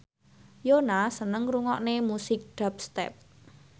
Yoona seneng ngrungokne musik dubstep